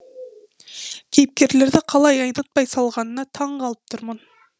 кейіпкерлерді қалай айнытпай салғанына таңқалып тұрмын